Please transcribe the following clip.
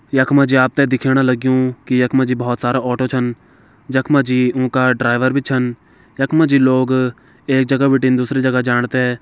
यख मा जी आप तें दिखण लग्यूं की यख मा जी बहोत सारा ऑटो छन जख मा जी उं का ड्राइवर भी छन यख मा जी लोग एक जगह बिटिन दुसरी जगह जाण तें --